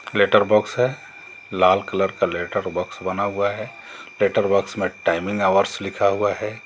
Letter box है लाल colour का लेटर बॉक्स बना हुआ है लेटर बॉक्स में टाइमिंग हॉर्स लिखा हुआ है।